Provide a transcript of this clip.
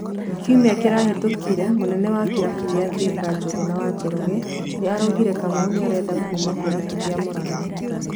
Kiumia kĩrahĩtũkire mũnene wa kĩrabũ gĩa Thika Njuguna wa Njoroge nĩ araugire Kamau nĩarenda kuuma kĩrabũ gĩa Muranga.